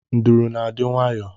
Nduru na-adị nwayọọ